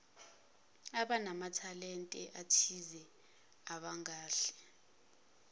abanamathalente athize abangahle